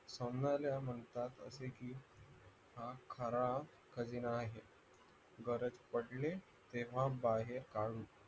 सोनाऱ्या म्हणतात असे की हा खरा खजिना हाय गरज पडली तेव्हा बाहेर काढू